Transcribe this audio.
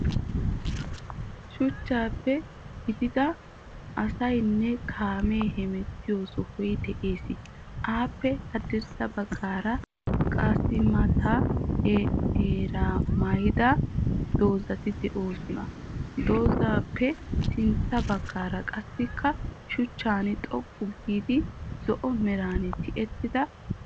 Shuchchappe gigiida asaayinne kaame heemetiyo sohoyi de'ees. Appe haadirssa bagaara qaasimaataa meera maayida dozayikka de'ees. Dozappe sintta bagaara qaasikka shuchchaan xooqu giidi zo'oo meeran tiyettidda keettayi de'ees.